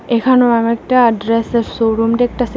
এখানেও আমি একটা ড্রেসের শো রুম ডেকটাসি ।